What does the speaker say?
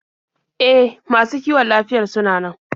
E, masu kiwon lafiyar sunan nan.